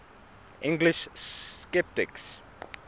english sceptics